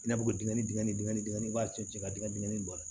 I n'a fɔ dingɛ dingɛ dingɛ in b'a cun cɛ ka dingɛ dingɛ in bɔ a la